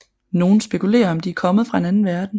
Nogle spekulerer om de er kommet fra en anden verden